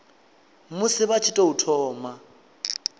musi vha tshi tou thoma